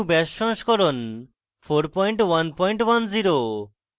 gnu bash সংস্করণ 4110